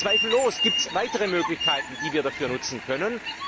Zweifellos gibt es weitere Möglichkeiten, die wir dafür nutzen können.